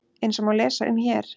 Eins og má lesa um hér